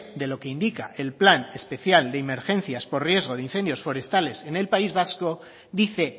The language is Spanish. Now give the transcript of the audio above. de lo que indica el plan especial de emergencias por riesgo de incendios forestales en el país vasco dice